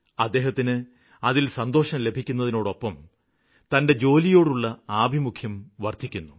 അദ്ദേഹത്തിന് അതില്നിന്ന് സന്തോഷം ലഭിക്കുന്നതിനോടൊപ്പം തന്റെ ജോലിയോടുള്ള ആഭിമുഖ്യവും വര്ദ്ധിക്കുന്നു